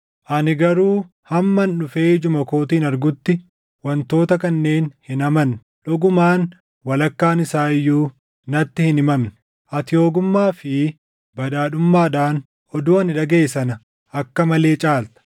Ani garuu hamman dhufee ijuma kootiin argutti wantoota kanneen hin amanne. Dhugumaan walakkaan isaa iyyuu natti hin himamne; ati ogummaa fi badhaadhummaadhaan oduu ani dhagaʼe sana akka malee caalta.